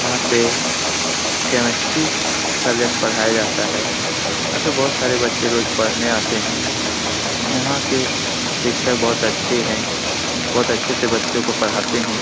यहाँ पे chemistry subject पढ़ाया जाता है | यहाँ पे बहुत सारे बच्चे रोज पढने आते हैं | यहाँ के शिक्षक बहुत अच्छे हैं | बहुत अच्छे से बच्चों को पढ़ाते हैं ।